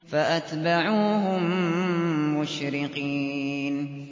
فَأَتْبَعُوهُم مُّشْرِقِينَ